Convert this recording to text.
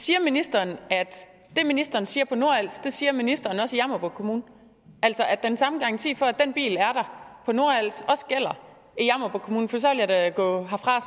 siger ministeren at det ministeren siger på nordals siger ministeren også i jammerbugt kommune altså at den samme garanti for at den bil er der på nordals også gælder i jammerbugt kommune for så vil jeg da gå herfra